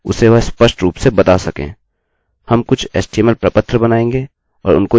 हम कुछ एचटीएमएलhtml प्रपत्र बनाएँगे और उनको यह करने के योग्य बनाएँगे